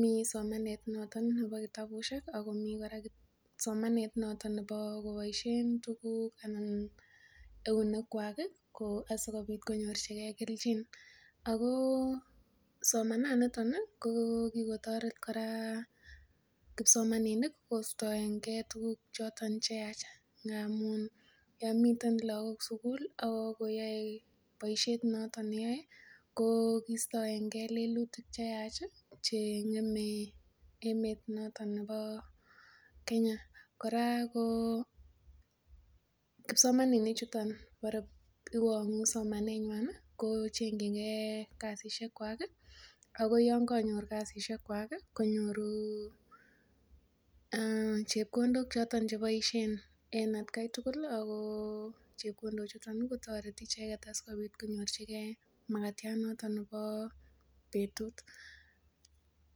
Miten somanet noton nebo kitabusiek Ako mi kora kipsomaninik somanet noton kobaisien tuguk en eunek kuag ih , asikobit konyor chige kelchin ago , somananito kokikotaret kipsomaninik kostaenge tukuk choton cheyachen ngamun miten lakok sugul ako yae boisiet noton neyae ko kostaenge lelitik cheyachih , cheng'eme emet noton neba Kenya. Noton kora ko kipsomaninik chuton ko chengchinge kasisiekwak ih , akoyaam kamyor kasisiekwak konyoru chebkondok choton chebaisien en at Kai tugul ih ako chebkondok chutan kotareti icheket en kasinyian neba atkai tugul.